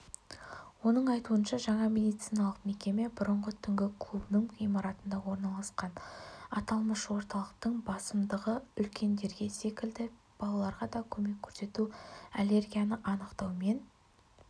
оның айтуынша жаңа медициналық мекеме бұрынғы түнгі клубының ғимаратында орналасқан аталмыш орталықтың басымдығыүлкендерге секілді балаларға да көмек көрсету аллергияны анықтау мен